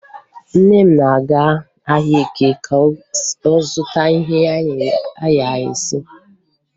Nne m na-aga ahịa Eke ka ọ zụta ihe anyị ga-esi